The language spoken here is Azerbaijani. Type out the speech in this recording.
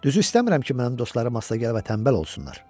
Düzü istəmirəm ki, mənim dostlarım asta gələ və tənbəl olsunlar.